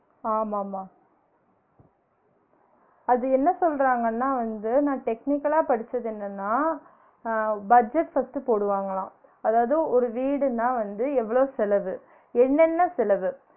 ஆமா மா அது என்ன சொல்றாங்கனா வந்து நான் technical லா படிச்சது என்னனா அஹ் budget first போடுவாங்களான் அதாவது ஒரு வீடுனா வந்து எவ்ளோ செலவு? என்னென்ன செலவு?